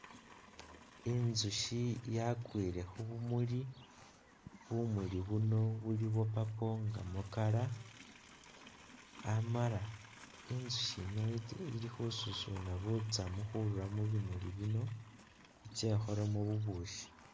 Inzushi yakwile khubumuli, bumuli buno buli bwa purple nga mu color amala inzushi yino ili khususuna butsamu khurura mubimuli bino itse ikholemo bubukhi